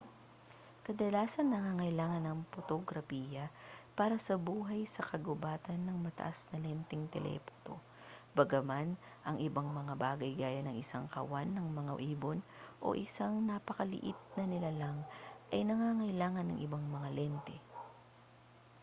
kadalasang nangangailangan ang potograpiya para sa buhay sa kagubatan ng mataas na lenteng telephoto bagaman ang ibang mga bagay gaya ng isang kawan ng mga ibon o isang napakaliit na nilalang ay nangangailangan ng ibang mga lente